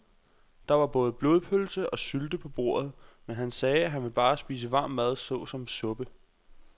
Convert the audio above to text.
Der var både blodpølse og sylte på bordet, men han sagde, at han bare ville spise varm mad såsom suppe.